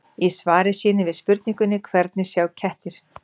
Í svari sínu við spurningunni Hvernig sjá kettir?